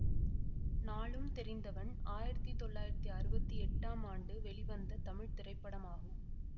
நாலும் தெரிந்தவன் ஆயிரத்தி தொள்ளாயிரத்தி அறுவத்தி எட்டாம் ஆண்டு வெளிவந்த தமிழ் திரைப்படமாகும்